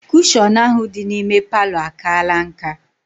Kushọn ahụ dị n'ime palọ a kaala nká